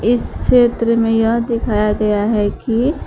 इस क्षेत्र में यह दिखाया गया है कि--